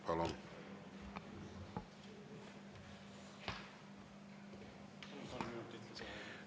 Palun kolm minutit lisaaega.